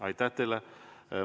Aitäh teile!